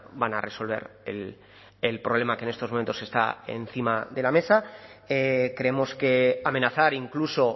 van a resolver el problema que en estos momentos está encima de la mesa creemos que amenazar incluso